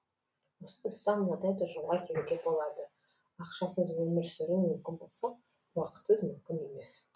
осы тұста мынадай тұжырымға келуге болады ақшасыз өмір сүру мүмкін болса уақытсыз мүмкін емес